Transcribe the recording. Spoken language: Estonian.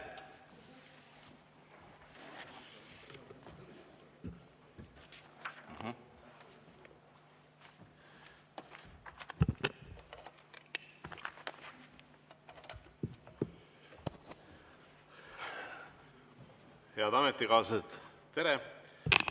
Head ametikaaslased, tere!